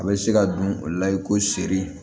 A bɛ se ka don o la i ko seri